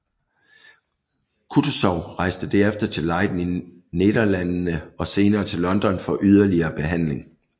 Kutuzov rejste herefter til Leiden i Nederlandene og senere til London for yderligere behandling